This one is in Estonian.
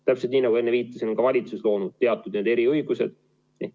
Täpselt nii, nagu enne viitasin, on ka valitsus loonud teatud eriõigused.